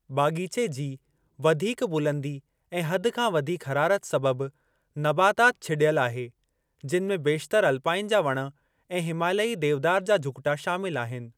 बाग़ीचे जी वधीक बुलंदी ऐं हद खां वधीक हरारत सबबि, नबाताति छिड॒यलु आहे, जिनि में बेशितर अल्पाइन जा वण ऐं हिमालयी देवदार जा झुगि॒टा शामिलु आहिनि।